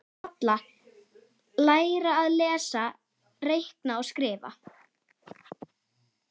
Halla: Læra að lesa, reikna og skrifa.